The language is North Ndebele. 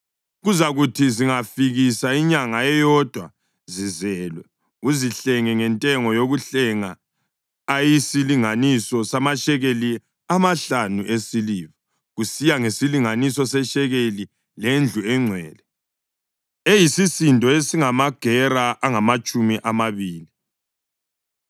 Kuzakuthi zingafikisa inyanga eyodwa zizelwe uzihlenge ngentengo yokuhlenga ayisilinganiso samashekeli amahlanu esiliva, kusiya ngesilinganiso seshekeli lendlu engcwele, eyisisindo esingamagera angamatshumi amabili.